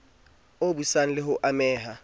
o busang le ho ameha